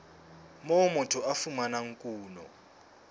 moo motho a fumanang kuno